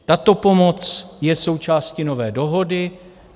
Tato pomoc je součástí nové dohody.